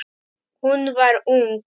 Hún var ung.